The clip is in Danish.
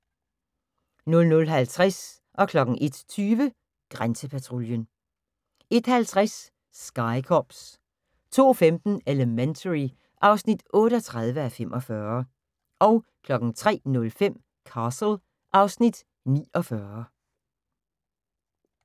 00:50: Grænsepatruljen 01:20: Grænsepatruljen 01:50: Sky Cops 02:15: Elementary (38:45) 03:05: Castle (Afs. 49)